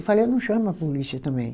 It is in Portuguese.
Eu falei, eu não chamo a polícia também.